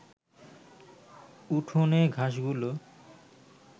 উঠোনে ঘাসগুলো